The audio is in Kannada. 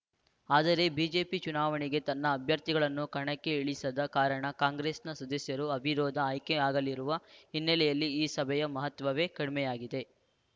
ಆದರೆ ಬಿಜೆಪಿ ಚುನಾವಣೆಗೆ ತನ್ನ ಅಭ್ಯರ್ಥಿಗಳನ್ನು ಕಣಕ್ಕೆ ಇಳಿಸದ ಕಾರಣ ಕಾಂಗ್ರೆಸ್‌ನ ಸದಸ್ಯರು ಅವಿರೋಧ ಆಯ್ಕೆಯಾಗಲಿರುವ ಹಿನ್ನೆಲೆಯಲ್ಲಿ ಈ ಸಭೆಯ ಮಹತ್ವವೇ ಕಡಿಮೆಯಾಗಿದೆ